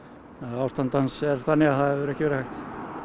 ástand hans er þannig að það hefur ekki verið hægt